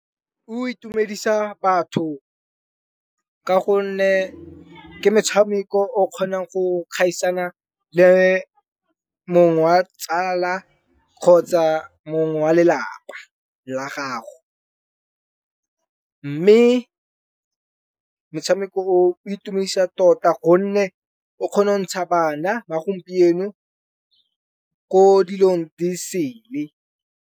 O itumedisa batho ka gonne, ke metshameko o kgonang go gaisana le mong wa tsala kgotsa mongwe wa lelapa la gago. Mme motshameko o itumedisa tota gonne o kgona go ntsha bana ba gompieno ko dilong di sele.